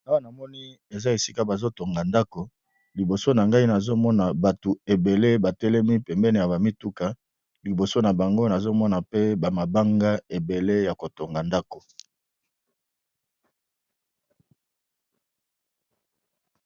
Awa namoni eza esika bazotonga ndako liboso na ngai nazomona batu ebele ba telemi pembeni ya mituka liboso na bango namoni mabanga ebele yako tonga ndako.